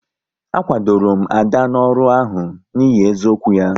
A kwadoro m Ada n'ọrụ ahụ n'ihi eziokwu ya